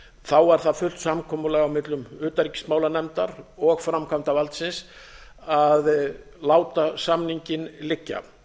þá var það fullt samkomulag á millum utanríkismálanefndar og framkvæmdarvaldsins að láta samninginn liggja